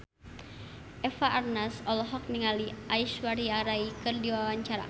Eva Arnaz olohok ningali Aishwarya Rai keur diwawancara